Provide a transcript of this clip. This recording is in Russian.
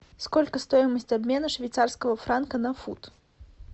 сколько стоимость обмена швейцарского франка на фунт